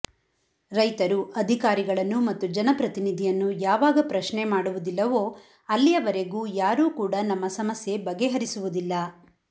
ರೈತರು ಅಧಿಕಾರಿಗಳನ್ನು ಮತ್ತು ಜನಪ್ರತಿನಿಧಿಯನ್ನು ಯಾವಾಗ ಪ್ರಶ್ನೆ ಮಾಡುವುದಿಲ್ಲವೋ ಅಲ್ಲಿಯವರೆಗೂ ಯಾರೂ ಕೂಡ ನಮ್ಮ ಸಮಸ್ಯೆ ಬಗೆಹರಿಸುವುದಿಲ್ಲ